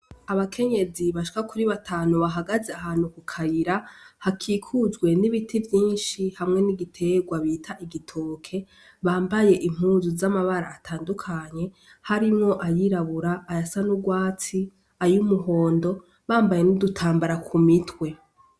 Abakenyezi bashwa kuri batanu bahagaze ahantu ku karira hakikujwe n'ibiti vyinshi hamwe n'igiterwa bita igitoke bambaye impuzu z'amabara atandukanye harimwo ayirabura aya sa n'urwatsi ayoumuhondo bambaye n'udutambara ku mitwe.